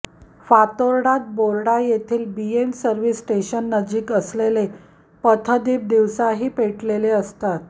फातोर्डात बोर्डा येथील BM service स्टेशननजीक असलेले पथदीप दिवसाही पेटलेले असतात